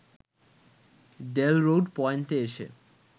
Jail Road পয়েন্টে এসে